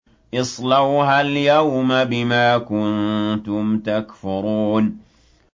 اصْلَوْهَا الْيَوْمَ بِمَا كُنتُمْ تَكْفُرُونَ